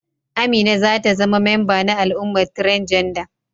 Amina za ta zama memba na al'ummar transgender.